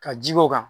Ka ji k'o kan